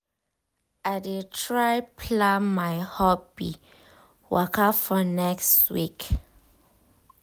i dey try plan my hobby waka for next week.